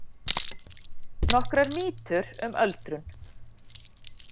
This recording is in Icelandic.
Nokkrar mýtur um öldrun